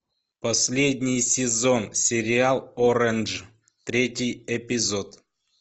последний сезон сериал оранж третий эпизод